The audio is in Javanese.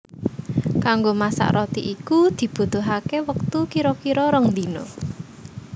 Kanggo masak roti iku dibutuhaké wektu kira kira rong dina